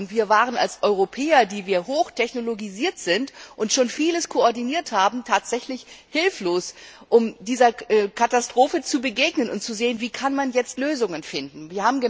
Wir waren als Europäer, die wir hoch technologisiert sind und schon vieles koordiniert haben, tatsächlich hilflos, als es darum ging, dieser Katastrophe zu begegnen und zu sehen, wie man Lösungen finden kann.